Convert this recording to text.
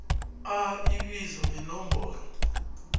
a ibizo nenomboro